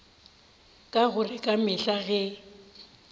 ka gore ka mehla ge